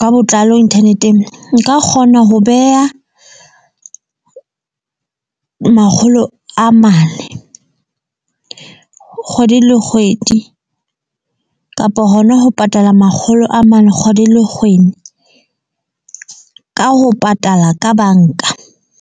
ka botlalo internet-eng. Nka kgona ho beha makgolo a mane kgwedi le kgwedi kapa hona ho patala makgolo a mane kgwedi le kgwedi, ka ho patala ka bank-a.